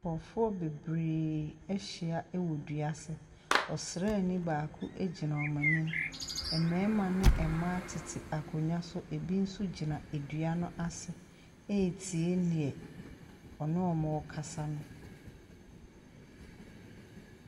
Nkurɔfoɔ bebree ahyia wɔ dua ase. Ɔsraani baako gyina wɔn anim. Mmarima ne mmaa tete akonnwa so. Ɛbi nso gyina dua no ase retie deɛ ɔne wɔn rekasa no.